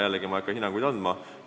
Jällegi, ma ei hakka hinnanguid andma.